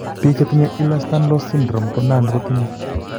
Biik chetinye Ehlers Danlos syndrome ko nan ko tinye